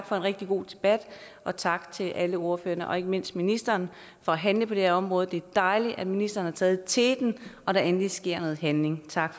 for en rigtig god debat og tak til alle ordførerne og ikke mindst ministeren for at handle på det her område det er dejligt at ministeren har taget teten og der egentlig sker noget handling tak